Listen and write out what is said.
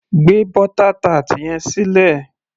gbé butter tart yẹn sílẹ̀